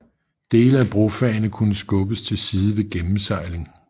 Dele af brofagene kunne skubbes til side ved gennemsejling